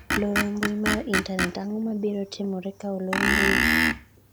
loro mbui mar intanet:ang'o ma biro timore ka olor mbui ?